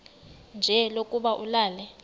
nje lokuba ulale